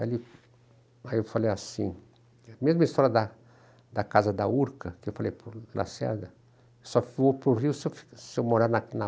Aí eu falei assim, a mesma história da casa da da Urca, que eu falei para o Lacerda, só vou para o Rio se eu seu morar na na